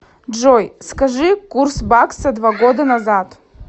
джой скажи курс бакса два года назад